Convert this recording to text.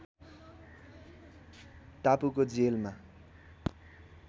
टापुको जेलमा